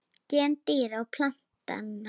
Gen dýra og plantna